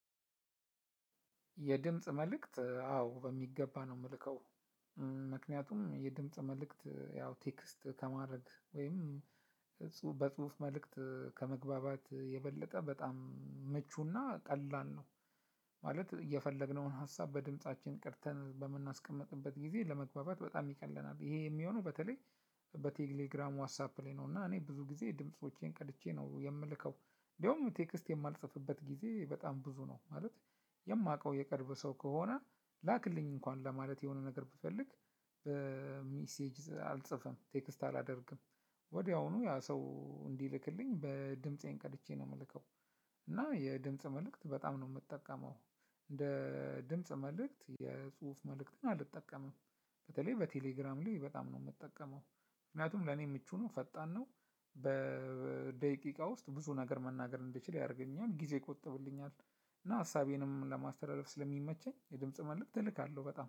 የድምጽ መልእክት አዎ በሚገባ ነው የምልከው። ምክንያቱም የድምጽ መልእክት ያው ቴክስት ከማድረግ ወይም በጽሁፍ መልእክት ከመግባባት የበለጠ በጣም መቹና ቀላል ነው ማለት የፈለግነውን ሀሳብ በድምፃችን ቀርተን በምናስቀምጥበት ጊዜ ለመግባባት በጣም ይቀለናል። ይሄ የሚሆነው በተለይ በቴሌግራም ዋትሳፕ ላይ ነው። እና እኔ ብዙ ጊዜ ድምፆቼን ቀድቼ ነው የምልከው። እንደውም ቴክስት የማልጽፍበት ጊዜ በጣም ብዙ ነው ማለት። የማውቀው የቀረበ ሰው ከሆነ ላክልኝ እንኳን ለማለት የሆነ ነገር ብፈልግ። ሜሴጅ አልጽፍም ቴክስት አላደርግም። ወዲያውኑ ያ ሰው እንዲልክልኝ በድምፄን ቀድቼ ነው የምልከው። እና የድምጽ መልእክት በጣም ነው የምጠቀመው። እንደ ድምጽ መልእክት የጽሁፍ መልእክትን አልጠቀምም። በተለይ በቴሌግራም ላይ በጣም ነው የምጠቀመው ምክንያቱም ለኔ ምቹ ነው ፈጣን ነው። በደቂቃ ውስጥ ብዙ ነገር መናገር እንድችል ያደርገኛል ጊዜ ይቆጥብልኛል። እና ሀሳቤንም ስለሚመቸኝ የድምጽ መልእክት እልካለሁ በጣም